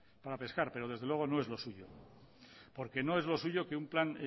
para pescar pero desde luego no es lo suyo porque no es lo suyo que un plan